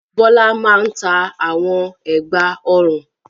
Bọ́lá máa ń ta àwọn ẹ̀gbá-ọrùn.